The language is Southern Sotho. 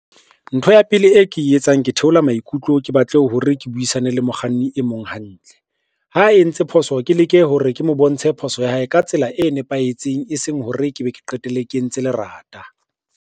Ntho ya pele e ke e etsang ke theola maikutlo, ke batle ho hore ke buisane le mokganni e mong hantle. Ha entse phoso, ke leke hore ke mo bontshe phoso ya hae ka tsela e nepahetseng, e seng hore ke be ke qetelle ke entse lerata.